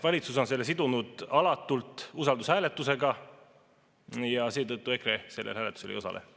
Valitsus on sidunud selle alatult usaldushääletusega ja seetõttu EKRE sellel hääletusel ei osale.